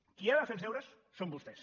qui ha de fer els deures són vos·tès